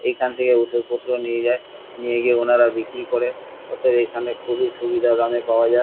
এইখান থেকে ওষুধপত্র নিয়ে যায় নিয়ে গিয়ে ওনারা বিক্রি করে অতএব এখানে খুবই সুবিধা দামে পাওয়া যায়।